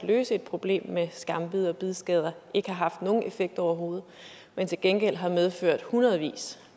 at løse et problem med skambid og bidskader ikke har haft nogen effekt overhovedet men til gengæld har medført hundredvis